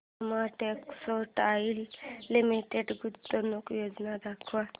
Soma textile limited गुंतवणूक योजना दाखव